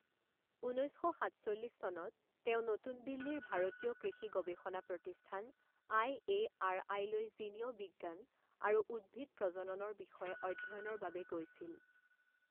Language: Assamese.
ঊনৈছ শ সাতচল্লিছ চনত তেওঁ নতুন দিল্লীৰ ভাৰতীয় কৃষি গৱেষণা প্ৰতিষ্ঠান আই এ আৰ আইলৈ জিনীয় বিজ্ঞান আৰু উদ্ভিদ প্ৰজননৰ বিষয়ে অধ্যয়নৰ বাবে গৈছিল৷